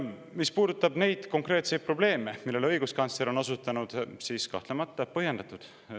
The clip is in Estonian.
Mis puudutab neid konkreetseid probleeme, millele õiguskantsler on osutanud, siis kahtlemata on see põhjendatud.